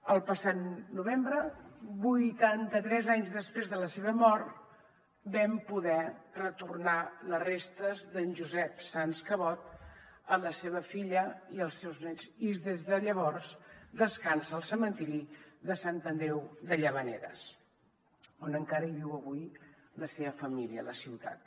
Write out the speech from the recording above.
el passat novembre vuitanta tres anys després de la seva mort vam poder retornar les restes d’en josep sans cabot a la seva filla i als seus nets i des de llavors descansa al cementiri de sant andreu de llavaneres on encara viu avui la seva família a la ciutat